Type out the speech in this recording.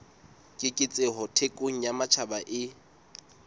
keketseho thekong ya matjhaba e